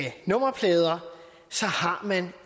nummerplader har man